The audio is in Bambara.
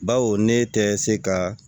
Bawo ne tɛ se ka